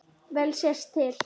Vel sést til